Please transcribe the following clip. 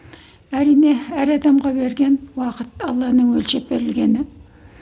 әрине әр адамға берген уақыт алланың өлшеп берілгені